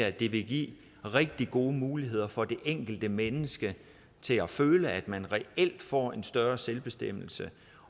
at det vil give rigtig gode muligheder for det enkelte menneske til at føle at man reelt får en større selvbestemmelse